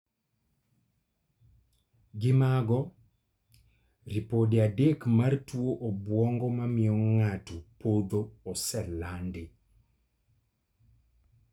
Gi mago, ripode adek mar tuo obwongo mamiyo ng'ato podho oselandi